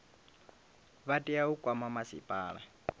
vha tea u kwama masipala